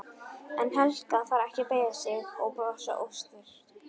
En Helga þarf ekki að beygja sig og brosa óstyrk.